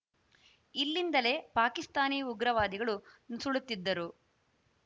ಇಲ್ಲಿಂದಲೇ ಪಾಕಿಸ್ತಾನಿ ಉಗ್ರವಾದಿಗಳು ನುಸುಳುತ್ತಿದ್ದರು